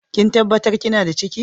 Kin tabatar kina da ciki?